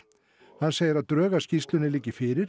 hann segir að drög að skýrslunni liggi fyrir